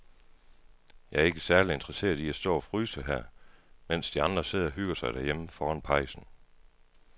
Jeg er ikke særlig interesseret i at stå og fryse her, mens de andre sidder og hygger sig derhjemme foran pejsen.